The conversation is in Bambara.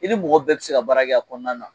I ni mɔgɔ bɛɛ tɛ se ka baara kɛ a kɔnɔna na